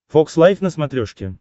фокс лайв на смотрешке